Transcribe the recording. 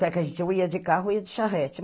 é que a gente ia de carro, ou ia de charrete.